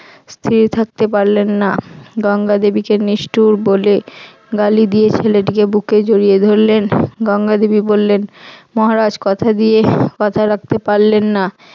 স্থির থাকতে পারলেন না। গঙ্গা দেবীকে নিষ্ঠুর বলে গালি দিয়েছিলেন গিয়ে বুকে জড়িয়ে ধরলেন, গঙ্গা দেবী বললেন মহারাজ কথা দিয়ে কথা রাখতে পারলেন না